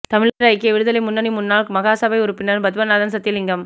தமிழர் ஐக்கிய விடுதலை முன்னணி முன்னாள் மாகாணசபை உறுப்பினர் பத்மநாதன் சத்தியலிங்கம்